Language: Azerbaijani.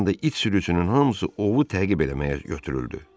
Bir anda it sürüsünün hamısı ovu təqib eləməyə götürüldü.